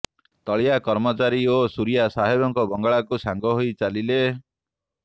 ତଳିଆ କର୍ମଚାରୀ ଓ ସୁରିଆ ସାହେବଙ୍କ ବଙ୍ଗଳାକୁ ସାଙ୍ଗହୋଇ ଚାଲିଲେ